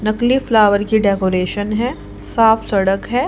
नकली फ्लावर की डेकोरेशन है साफ सड़क है।